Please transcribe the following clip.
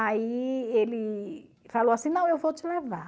Aí ele falou assim, não, eu vou te levar.